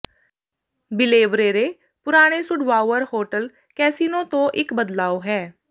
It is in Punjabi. ਬੀਲੇਵਰੇਰੇ ਪੁਰਾਣੇ ਸੁਡਵਾਉਅਰ ਹੋਟਲ ਕੈਸਿਨੋ ਤੋਂ ਇੱਕ ਬਦਲਾਵ ਹੈ